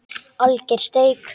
Alger steik